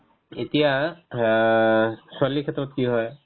এতিয়া আ ছোৱালীৰ ক্ষেত্ৰত কি হয়